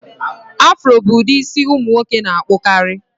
Afro bụ ụdị isi ụmụ nwoke na-akpụkarị